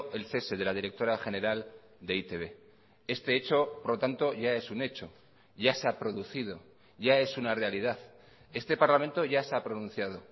el cese de la directora general de e i te be este hecho por lo tanto ya es un hecho ya se ha producido ya es una realidad este parlamento ya se ha pronunciado